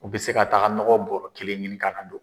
U bɛ se ka taga nɔgɔ bɔrɔ kelen ɲini ka na.